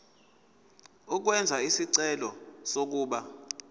ukwenza isicelo sokuba